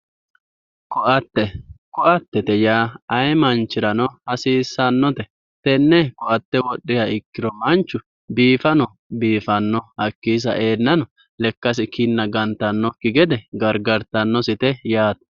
ko''atte ko''attete yaa ayee manchirano hasiissannote tenne ko''atte wodhiha ikkiro manchu biifanno hakkiino sa''enna lekkasi kinna gantannosikki gede gargartannote yaate